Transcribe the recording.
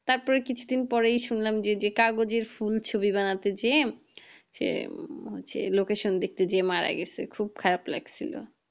তার পর কিছু দিন পরেই শুনলাম যে কাগজের ফুল ছবি বানাতে গিয়ে সে হচ্ছে location দেখতে গিয়ে মারা গেছে খুব খারাপ লাগছিলো